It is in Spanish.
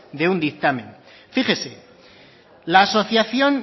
de un dictamen fíjese la asociación